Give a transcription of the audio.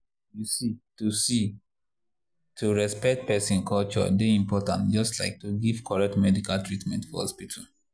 you see to see to respect person culture dey important just like to give correct medical treatment for hospital.